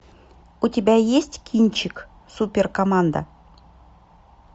у тебя есть кинчик супер команда